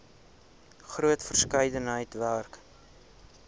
groot verskeidenheid werk